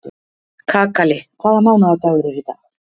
Kakali, hvaða mánaðardagur er í dag?